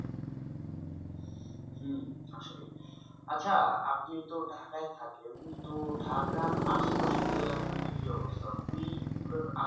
আচ্ছা আপনি তো ঢাকাই থাকেন এমনি তো ঢাকার আশপাশের জেলাগুলোতে কি অবস্থা? ওই গুলোর